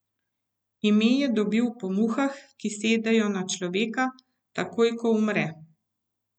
Ime je dobil po muhah, ki sedejo na človeka, takoj ko umre.